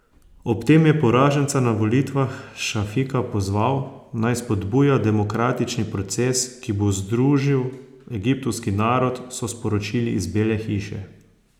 Ob tem je poraženca na volitvah Šafika pozval, naj spodbuja demokratični proces, ki bo združil egiptovski narod, so sporočili iz Bele hiše.